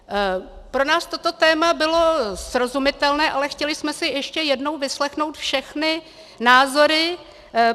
Pro nás toto téma bylo srozumitelné, ale chtěli jsme si ještě jednou vyslechnout všechny názory.